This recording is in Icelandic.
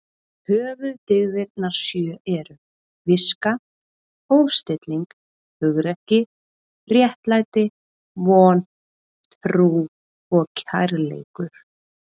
Höfuðdyggðirnar sjö eru: Viska, hófstilling, hugrekki, réttlæti, von, trú og kærleikur.